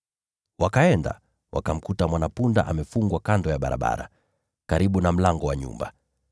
Wakaenda, wakamkuta mwana-punda amefungwa kando ya barabara, karibu na mlango wa nyumba.